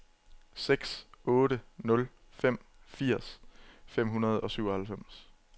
seks otte nul fem firs fem hundrede og syvoghalvfems